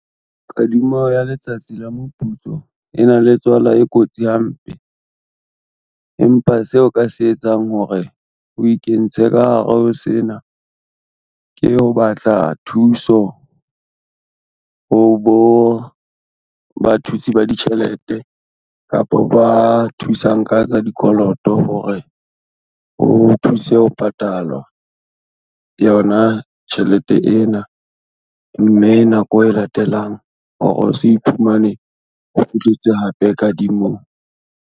Kadimo ya letsatsi la moputso e na le tswala e kotsi hampe. Empa seo ka se etsang hore, o ikentshe ka hare ho sena, ke ho batla thuso, ho bo bathusi ba ditjhelete kapa ba thusang ka tsa dikoloto hore ho thuse ho patalwa yona tjhelete ena, mme nako e latelang hore o se iphumane o kgutletse hape kadimong.